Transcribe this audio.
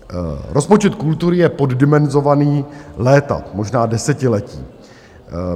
Rozpočet kultury je poddimenzovaný léta, možná desetiletí.